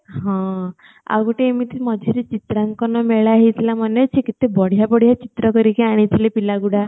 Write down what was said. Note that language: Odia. ହଁ ଆଉ ଗୋଟେ ଏମିତି ମଝିରେ ଚିତ୍ରାଙ୍କନ ମେଳା ହଉଥିଲା ମନେ ଅଛି କେତେ ବଢିଆ ବଢିଆ ଚିତ୍ର କରିକି ଆଣିଥିଲେ ପିଲାଗୁଡା